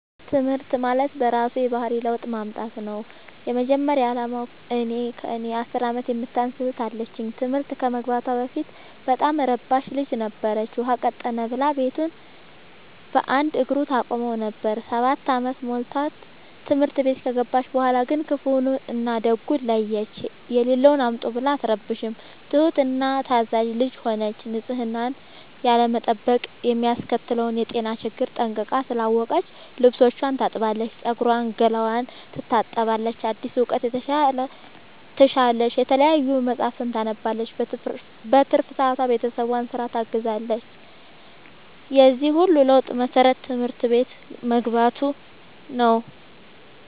ትምህርት ማለት በእራሱ የባህሪ ለውጥ ማምጣት ነው የመጀመሪያ አላማው። እኔ ከእኔ አስር አመት የምታንስ እህት አለችኝ ትምህርት ከመግባቷ በፊት በጣም እረባሽ ልጅ ነበረች። ውሃ ቀጠነ ብላ ቤቱን በአንድ እግሩ ታቆመው ነበር። ሰባት አመት ሞልቶት ትምህርት ቤት ከገባች በኋላ ግን ክፋውን እና ደጉን ለየች። የሌለውን አምጡ ብላ አትረብሽም ትሁት እና ታዛዣ ልጅ ሆነች ንፅህናን ያለመጠበቅ የሚያስከትለውን የጤና ችግር ጠንቅቃ ስላወቀች ልብስቿን ታጥባለች ፀጉሯን ገላዋን ትታጠባለች አዲስ እውቀት ትሻለች የተለያዩ መፀሀፍትን ታነባለች በትርፍ ሰዓቷ ቤተሰብን ስራ ታግዛለች የዚህ ሁሉ ለውጥ መሰረቱ ትምህርት ቤት መግባቶ ነው።